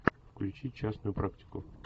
включи частную практику